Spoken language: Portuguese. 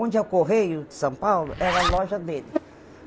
Onde a Correio de São Paulo era a loja dele.